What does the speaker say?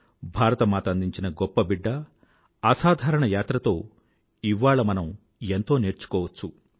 భారత మాత అందించిన గొప్పబిడ్డ అసాధారణ యాత్రతో ఇవాళ మనం ఎంతో నేర్చుకోవచ్చు